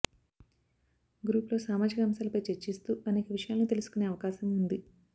గ్రూపులో సామాజిక అంశాలపై చర్చిస్తూ అనేక విషయాలను తెలుసుకొనే అవకాశం ఉంది